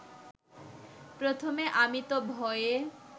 প্রথমে আমি তো ভয়ে